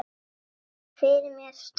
Ég sé fyrir mér stór